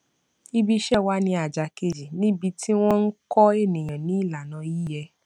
ibi iṣẹ wa ni àjà kejì níbi tí wọn ń kọ ènìyàn ní ìlànà yíyẹ